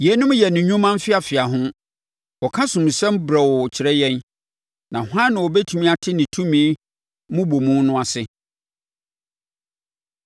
Yeinom yɛ ne nnwuma mfeafeaho; ɔka asomusɛm brɛoo kyerɛ yɛn! Na hwan na ɔbɛtumi ate ne tumi mmobɔmu no ase.”